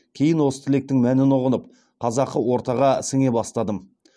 кейін осы тілектің мәнін ұғынып қазақы ортаға сіңе бастадым